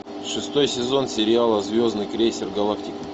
шестой сезон сериала звездный крейсер галактики